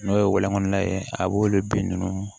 N'o ye walɔn ye a b'olu bin ninnu